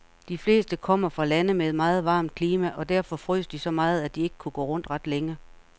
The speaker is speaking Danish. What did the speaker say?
De fleste kommer fra lande med et meget varmt klima, og derfor frøs de så meget, at de ikke kunne gå rundt ret længe.